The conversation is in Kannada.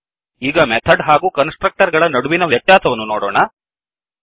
ಈಗ ಮೆಥಡ್ ಹಾಗೂ ಕನ್ಸ್ ಟ್ರಕ್ಟರ್ ಗಳ ನಡುವಿನ ವ್ಯತ್ಯಾಸಗಳನ್ನು ನೋಡೋಣ